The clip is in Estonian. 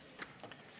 Annely Akkermann, palun!